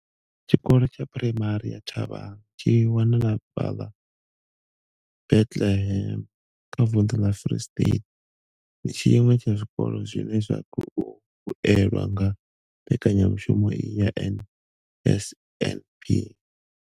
Tshikolo tsha Phuraimari ya Thabang tshi wanalaho fhaḽa Bethlehem kha vunḓu ḽa Free State, ndi tshiṅwe tsha zwikolo zwine zwa khou vhuelwa nga mbekanya mushumo iyi ya NSNP.